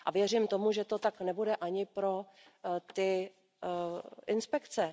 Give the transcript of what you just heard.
A věřím tomu, že to tak nebude ani pro ty inspekce.